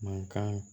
Mankan